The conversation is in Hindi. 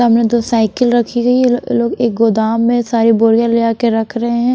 सामने दो साइकिल रखी गई है ल लोग एक गोदाम में सारी बोरियाँ ले आ के रख रहे हैं।